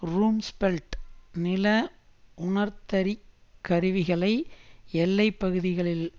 Rumsfeld நில உணர்ந்தறிக் கருவிகளை எல்லை பகுதிகளில்